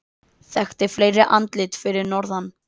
Þekkti fleiri andlit fyrir norðan